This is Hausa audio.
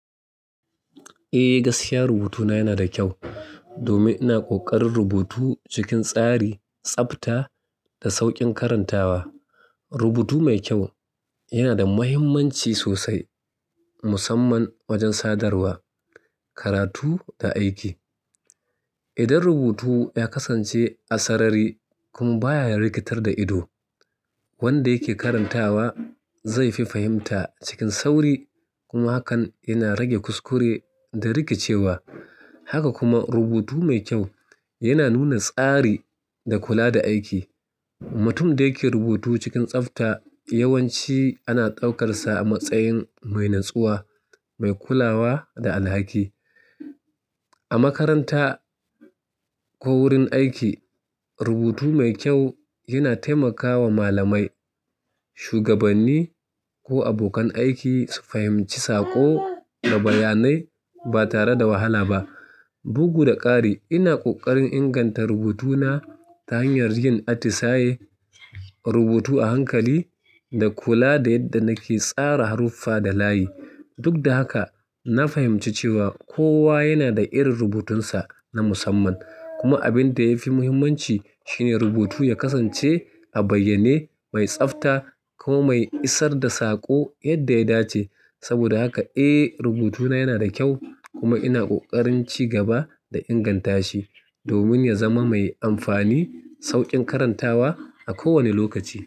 Eh, gaskiya rubutuna yana da kyau domin ina ƙoƙarin rubutu cikin tsari, tsabta da sauƙin karantawa. Rubutu mai kyau yana da muhimmanci sosai musamman wajen sadarwa, karatu da aiki. Idan rubutu ya kasance a sarari kuma baya rikitar da ido, wanda yake karantawa zai fi fahimta cikin sauri kuma hakan yana rage kuskure da rikicewa. Haka kuma rubutu mai kyau yana nuna tsari da kula da aiki. Mutum da yake rubutu cikin tsabta yawanci ana ɗaukarsa a matsayin mai natsuwa, mai kulawa da alhaki. A makaranta ko wurin aiki rubutu mai kyau yana taimakawa malamai, shugabanni ko abokan aiki su fahimci saƙo da bayanai ba tare da wahala ba. Bugu da ƙari ina ƙoƙarin inganta rubutuna ta hanyar yin atisaye rubutu a hankali da kula da yadda nake tsara haruffa da layi. Duk da haka na fahimci cewa kowa yana da irin rubutunsa na musamman kuma abin da yafi muhimmanci shine rubutu ya kasance a bayyane, mai tsabta kuma mai isar da saƙo yadda ya dace. Saboda haka eh rubutuna yana da kyau kuma ina kokarin ci gaba da ingantashi domin ya zama mai amfani, sauƙin karantawa a kowane lokaci.